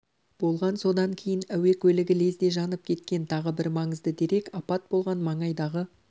болған содан кейін әуе көлігі лезде жанып кеткен тағы бір маңызды дерек апат болған маңайдағы